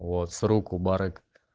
вот с рук у барыг